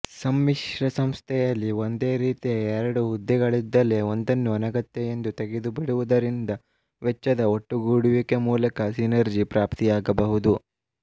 ಸಮ್ಮಿಶ್ರ ಸಂಸ್ಥೆಯಲ್ಲಿ ಒಂದೇ ರೀತಿಯ ಎರಡು ಹುದ್ದೆಗಳಿದ್ದಲ್ಲಿ ಒಂದನ್ನು ಅನಗತ್ಯ ಎಂದು ತೆಗೆದುಬಿಡುವುದರಿಂದ ವೆಚ್ವದ ಒಟ್ಟುಗೂಡುವಿಕೆ ಮೂಲಕ ಸಿನರ್ಜಿ ಪ್ರಾಪ್ತಿಯಾಗಬಹುದು